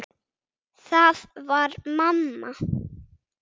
Það var mamma.